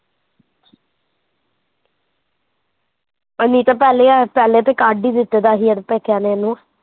ਏਨੀ ਤਾਂ ਪਹਿਲਾਂ ਇਆ ਪਹਿਲੇ ਤੇ ਕੱਢ ਹੀਂ ਦਿੱਤਾ ਤਾਂ ਸੀ ਯਰ ਪੇਕਿਆ ਨੇ ਏਹਨੂੰ